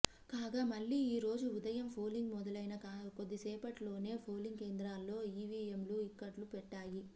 కాగా మళ్ళీ ఈ రోజు ఉదయం పోలింగ్ మొదలైన కొద్దిసేపటిలోనే పోలింగ్ కేంద్రాల్లో ఈవీఎంలు ఇక్కట్లు పెట్టాయి